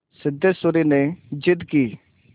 सिद्धेश्वरी ने जिद की